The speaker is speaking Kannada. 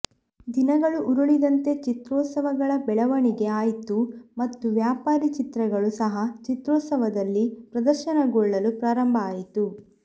ದಿನಗಳು ಉರುಳಿದಂತೆ ಚಿತ್ರೋತ್ಸವಗಳ ಬೆಳವಣಿಗೆ ಆಯ್ತು ಮತ್ತು ವ್ಯಾಪಾರಿ ಚಿತ್ರಗಳು ಸಹ ಚಿತ್ರೋತ್ಸವದಲ್ಲಿ ಪ್ರದರ್ಶನಗೊಳ್ಳಲು ಪ್ರಾರಂಭ ಆಯಿತು